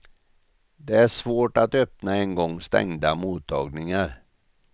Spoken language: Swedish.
Det är svårt att öppna en gång stängda mottagningar.